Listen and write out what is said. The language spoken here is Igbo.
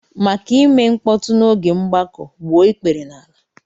Maka ime mkpọtụ n'oge mgbakọ, gbuo ikpere n'ala!